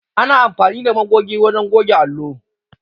Ana amfani da magoge wajen goge allo.